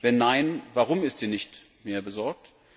Wenn nein, warum ist sie nicht mehr besorgt?